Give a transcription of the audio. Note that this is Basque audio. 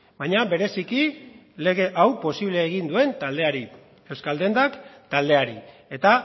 baina bereziki lege hau posible egin duen taldeari euskaldendak taldeari eta